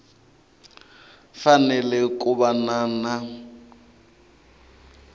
fanele ku va na na